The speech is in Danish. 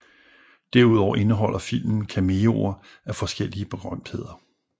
Derudover indeholder filmen cameoer af forskellige berømtheder